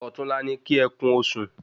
Òtún la ni ki é kún osùn